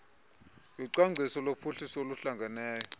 yocwangciso lophuhliso oluhlangeneyo